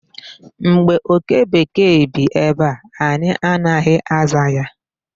Mgbe oke bekee bi ebe a, anyị anaghị aza ya.